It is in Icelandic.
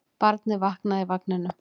Barnið vaknaði í vagninum.